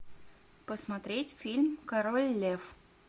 посмотреть фильм король лев